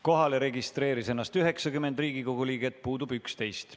Kohalolijaks registreeris ennast 90 Riigikogu liiget, puudub 11.